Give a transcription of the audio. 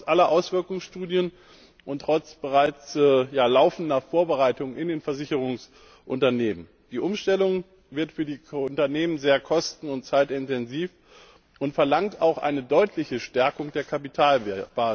Trotz aller Auswirkungsstudien und trotz bereits laufender Vorbereitungen in den Versicherungsunternehmen wird die Umstellung für die Unternehmen sehr kosten und zeitintensiv sein und verlangt auch eine deutliche Stärkung der Kapitalbasis.